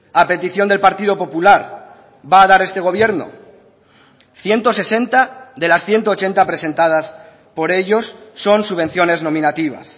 a petición del partido popular va a dar este gobierno ciento sesenta de las ciento ochenta presentadas por ellos son subvenciones nominativas